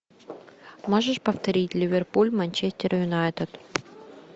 можешь повторить ливерпуль манчестер юнайтед